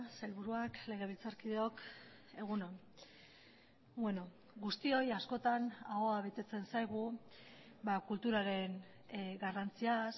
sailburuak legebiltzarkideok egun on guztioi askotan ahoa betetzen zaigu kulturaren garrantziaz